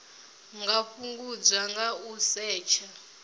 nga fhungudzwa nga u setsha